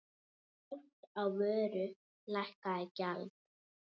Oft á vöru lækkað gjald.